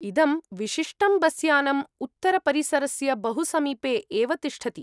इदं विशिष्टं बस्यानम् उत्तरपरिसरस्य बहुसमीपे एव तिष्ठति।